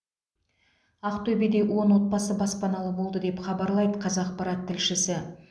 ақтөбеде он отбасы баспаналы болды деп хабарлайды қазақпарат тілшісі